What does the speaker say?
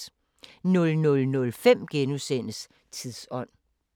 00:05: Tidsånd *